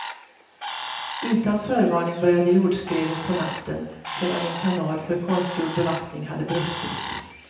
Utan förvarning började jordskredet på natten sedan en kanal för konstgjord bevattning hade brustit.